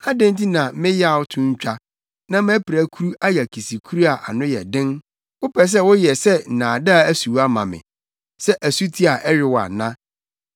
Adɛn nti na me yaw to ntwa da na mʼapirakuru ayɛ akisikuru a ano yɛ den? Wopɛ sɛ woyɛ sɛ nnaadaa asuwa ma me, sɛ asuti a ɛyow ana?